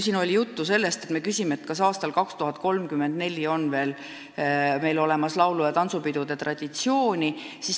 Siin oli juba juttu sellest, et me küsime, kas aastal 2034 on veel olemas laulu- ja tantsupidude traditsioon.